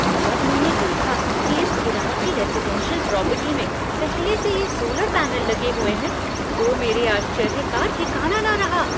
जब मैंने देखा कि इस किराये की रेज़िडेंशियल प्रॉपर्टी में पहले से ही सोलर पैनल लगे हुए हैं तो मेरे आश्चर्य का ठिकाना न रहा।